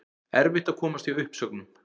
Erfitt að komast hjá uppsögnum